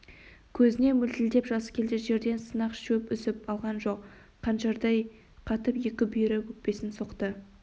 көзіне мөлтілдеп жас келді жерден сынық шөп үзіп алған жоқ қаншырдай қатып екі бүйірі өкпесін соқты